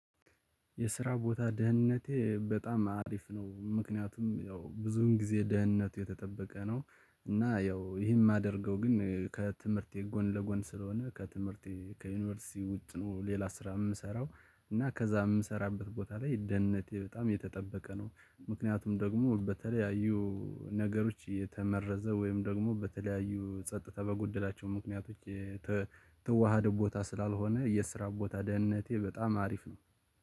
የስራ ቦታ ደህንነቴ በጣም አሪፍ ነው ምክንያቱም ያው ብዙውን ጊዜ ደህንነቱ የተጠበቀ ነው እና ያው ይሄን የማደርገው ግን ከትምህርቴ ጎን ለጎን ስለሆነ ከትምህርቴ ከዩኒቨርሲቲ ውጭ ነው። ሌላ ስራ የምሰራው እና ከዛ የምሰራበት ቦታ ላይ ደህንነቴ በጣም የተጠበቀ ነው። ምክንያቱም ደግሞ በተለያዩ ነገሮች የተመረዘ ወይም ደግሞ በተለያዩ ጸጥታ በጎደላቸው ምክንያቶች የተዋሃደ ቦታ ስላልሆነ የስራ ቦታ ደህንነቴ በጣም አሪፍ ነው